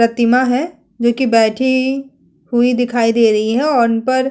प्रतिमा है जो की बैठी हुई दिखाई दे रही है और उन पर --